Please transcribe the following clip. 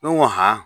Ne ko ha